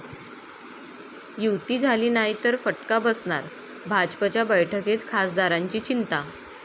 युती' झाली नाही तर फटका बसणार, भाजपच्या बैठकीत खासदारांची चिंता!